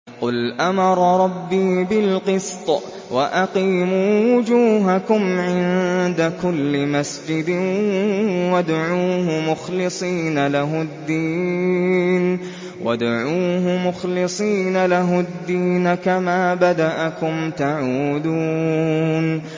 قُلْ أَمَرَ رَبِّي بِالْقِسْطِ ۖ وَأَقِيمُوا وُجُوهَكُمْ عِندَ كُلِّ مَسْجِدٍ وَادْعُوهُ مُخْلِصِينَ لَهُ الدِّينَ ۚ كَمَا بَدَأَكُمْ تَعُودُونَ